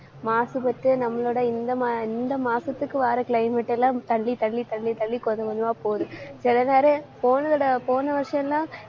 மாசுபட்டு நம்மளோட இந்த, இந்த மாசத்துக்கு வர climate எல்லாம் தள்ளி, தள்ளி, தள்ளி, தள்ளி, கொஞ்சம், கொஞ்சமா போகுது. சில நேரம் போனதடவை போன வருஷம்தான்